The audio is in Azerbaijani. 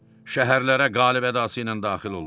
Şəhərlərə qalib ədası ilə daxil oldu.